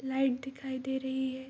Light दिखाई दे रही है।